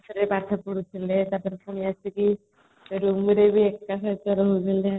classରେ ପାଠ ପଢୁଥିଲେ ତାପରେ ପୁଣି ଆସିକି roomରେ ବି ଏକା ସହିତ ରହୁଥିଲେ